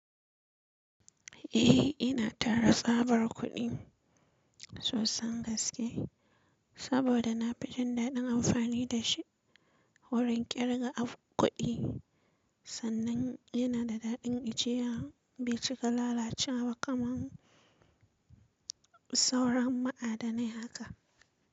Eh ina tara tsabar kuɗi sosan gaske saboda na fi jin daɗin amfani da shi wurin ƙirga kuɗi sannan yana da daɗin ajiya bai cika lalacewa kaman sauran ma'adanai haka.